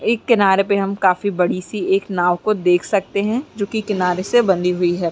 एक किनारे पे हम काफी बड़ी सी एक नाव को देख सकते हैं जो की किनारे से बंधी हुई हैं।